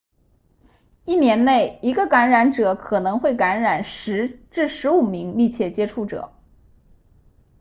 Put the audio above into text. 一年内一个感染者可能会感染10至15名密切接触者